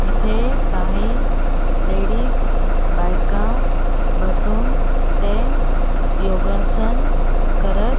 इथे काही लेडीज बायका बसून ते योगासन करत --